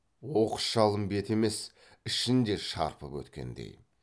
оқыс жалын беті емес ішін де шарпып өткендей